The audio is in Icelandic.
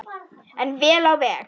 En vel á veg.